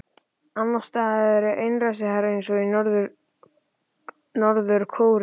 Annars staðar eru einræðisherrar eins og í Norður-Kóreu og